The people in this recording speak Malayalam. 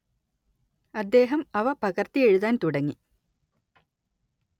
അദ്ദേഹം അവ പകര്‍ത്തി എഴുതാന്‍ തുടങ്ങി